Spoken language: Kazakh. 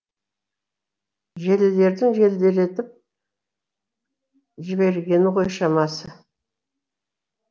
желілердің желдіретіп жіберген ғой шамасы